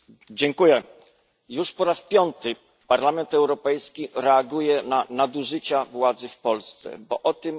Już po raz piąty Parlament Europejski reaguje na nadużycia władzy w Polsce, bo o tym jest ta debata.